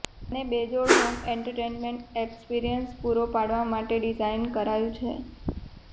જેને બેજોડ home entertainment experience પૂરો પાડવા માટે ડિઝાઇન કરાયું છે